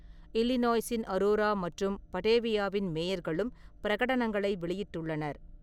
இல்லினாய்ஸின் Aurora மற்றும் படேவியாவின் மேயர்களும் பிரகடனங்களை வெளியிட்டுள்ளனர்.